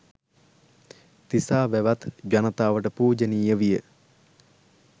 තිසා වැවත් ජනතාවට පූජනීය විය.